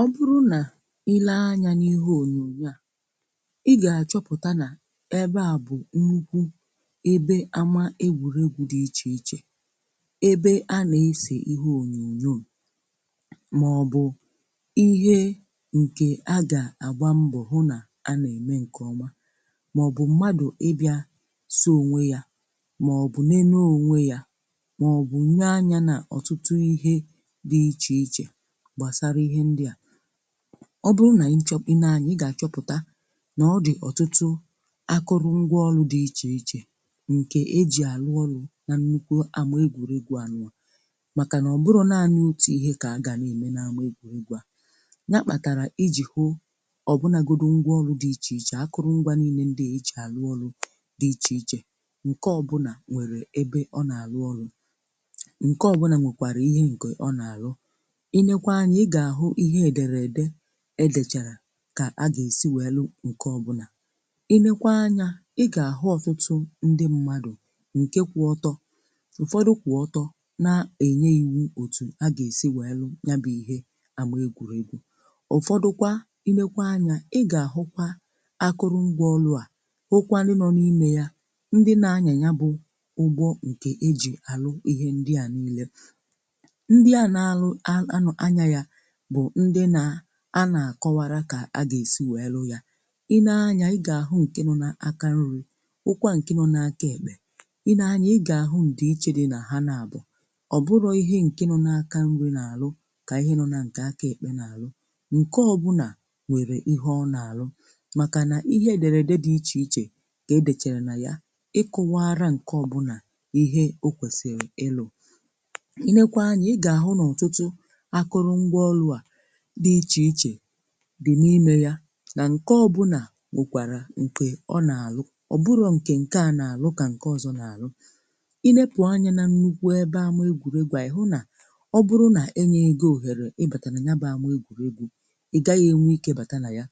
Ọ bụrụ nà i lee anyà n’ihe onyonyo a, i gà-achọpụta nà ebe a bụ̀ nnukwu ebe ama egwùregwu dị iche iche, ebe a na-ese ihe onyonyo, ma ọ bụ ihe nke agà-àgba mbọ hụ nà a na-eme nke ọma, ma ọ bụ mmadụ̀ ịbịà si onwe yà, ma ọ bụ n’elu onwe yà, ma ọ bụ nye anya nà ọtụtụ ihe dị iche iche gbasara ihe ndị a. Ọ bụrụ̀ nà ị chọ i nee anya, ị gà-àchọpụta nà ọ dị̀ ọtụtụ akụrụ̀ngwa ọlụ̀ dị iche iche nke e ji àlụ ọlụ̀ nà nnukwu àma egwùregwu à, n’ụ̀nụ̀ à màkà nà ọ bụrụ̀ naanị̀ otu ihe kà agà n’eme nà àma egwùregwu à. Yà kpàtàrà ijì hụ ọbụnagodù ngwa ọlụ̀ dị iche iche, akụrụ̀ngwà niile ndị e ji arụ ọrụ dị iche iche, nke ọbụnà nwèrè ebe ọ nà-àlụ ọlụ̀, nke ọbụnà nwekwàrà ihe nke ọ nà-àlụ. Ile kwa anyà, ị gà-àhụ ihe edèredè edèchàrà kà a gà-èsi wèe lu nke ọbụnà. I nekwa anyà, ị gà-àhụ ọ̀tụtụ̀ ndi mmadụ̀ nke kwụ ọtọ, ụ̀fọdụ kwụ̀ ọtọ na-ènye ìwu òtù a gà-èsi wèe lu, yà bụ̇ ihe àma egwùregwu. Ụ̀fọdụkwa, i nekwa anyà, ị gà-àhụkwa akụrụngwà ọlụ̇ à hụkwanụ nọ n’ime yà, ndi nà-anyà, yà bụ̀ ụgbọ nke e jì àrụ ihe ndi a niile. Ndị a na-anụ àlụ anya, yà bụ̀ ndi nà-akọwara kà agà-èsi wèe lu ya. I nee anyà, ị gà-àhụ nke nọ nà aka nri̇, hụkwà nke nọ n’aka èkpe. I nee anyà, ị gà-àhụ ndi iche dị nà ha, na-àbụ̀ ọ̀ bụrọ̇ ihe nke nọ n’aka nri̇ nà-àlụ kà ihe nọ̇ nà nke aka èkpe nà-àlụ. Nke ọbụnà wèrè ihe ọ nà-àlụ, màkà nà ihe èdèrè dị iche iche ka e dèchàrà nà ya kọwara nke ọbụnà ihe o kwèsìrì ịlụ̇. I nekwa anyà, ị gà-àhụ n’ọ̀tụtụ̇ akụrụ̀ngwà ọlụ̇ a dị̀ iche iche dị̀ n’ime yà, na nke ọbụnà nwekwàrà nke ọ nà-àlụ. Ọ bụrụ̀ nke, nke a nà-àlụ, kà nke ọzọ̀ nà-àlụ. I lepu anyà nà nnukwu ebe ama egwuregwu à, ihu nà ọ bụrụ̀ nà enyeghị gị ohere ị bata nà ya baa ama egwuregwù, ị gaghị̀ enwe ike bata nà yà,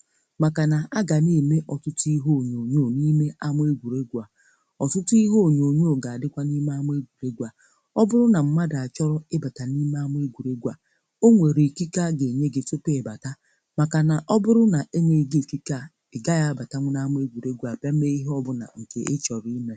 màkà nà agà n’ime ọtụtụ ihe onyonyo ọ n’ime ama egwuregwù à. Ọtụtụ ihe onyonyo gà-àdịkwa n’ime ama egwuregwù à. Ọ bụrụ̀ nà mmadụ̀ achọ ị bata n’ime ama egwuregwù à, onwèrè ikike a gà-enye gị tupu gị abata n’ime ama egwùregwu a. Màkà nà ọ bụrụ̀ nà enyeghị gị ikike à, ị gà-agaghị abàta nà ama egwùregwù a bịa mee ihe ọ bụ̀nà nke ị chọ̀rọ̀ ime.